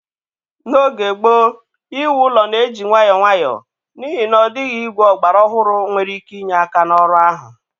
N'oge gboo, iwu ụlọ na-eji nwayọọ nwayọọ, n'ihi na ọ dịghị igwe ọgbara ọhụrụ nwere ike inye aka n'ọrụ ahụ.